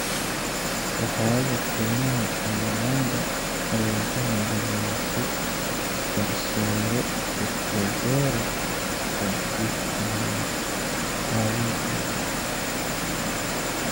Safaaradda Shiinaha ee Uganda ayaa u hambalyeysay garsoore Katureebe ka dib magacaabistiisa.